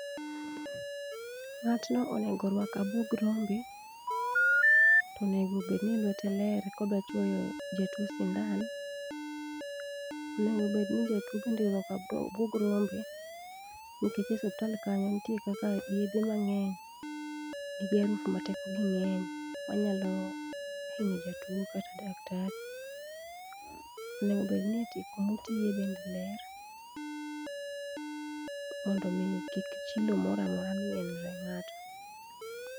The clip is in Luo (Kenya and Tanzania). Ng'atno onego orwak abuog rombe to onengo obed ni lwete ler ka odwa chwoyo jatuo sindan. Onengo obed ni jatwo bende orwako abwog rombe. Nikech osiptal kanyo nitie kaka yedhe mang'eny ni gi arufu ma teko gi ng'eny manyalo hinyo jatuo kata daktari. Onego bed ni kumutiye be ler mondo mi kik chilo moro amora mien ne ng'ato.